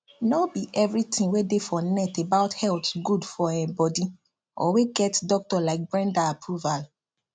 no be everything wey dey for net about health good for um body or wey get doctor like brenda approval